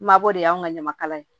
Mabɔ de y'anw ka ɲamakalaya ye